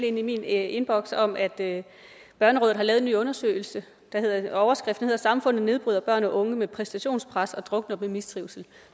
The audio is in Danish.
i min indbakke om at børnerådet har lavet en ny undersøgelse med overskriften samfundet nedbryder børn og unge med præstationspres og drukner dem i mistrivsel